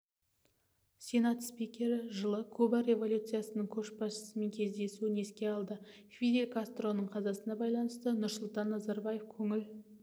сенат спикері жылы куба революциясының көшбасшысымен кездесуін есіне алды фидель кастроның қазасына байланысты нұрсұлтан назарбаев көңіл